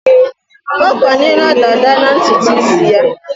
Ọ kwanyela dàdá na ntutu isi ya.